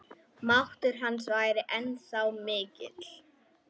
Máttur hans væri ennþá mikill.